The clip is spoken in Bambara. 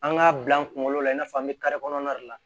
An k'a bila an kunkolo la i n'a fɔ an bɛ kɔnɔna de la